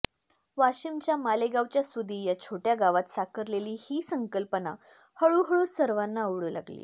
वाशिमच्या मालेगावच्या सुदी या छोट्या गावात साकारलेली ही संकल्पना हळूहळू सर्वांना आवडू लागली